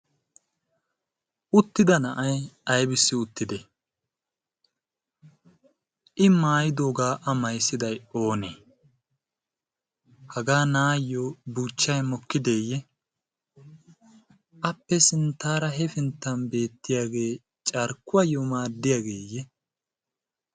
Uttidda na'ay abissi uttidde? I maayiddogga a mayssidday oonne? Hagga na'ayoo buuchchay mokkideeye? Ha"i sinttara hepinttan beettiyagge carkuwaayo maadiyabeye?